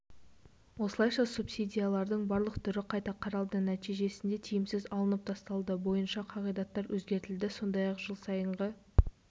осылайша субсидиялардың барлық түрі қайта қаралды нәтижесінде тиімсіз алынып тасталды бойынша қағидаттар өзгертілді сондай-ақ жыл сайынғы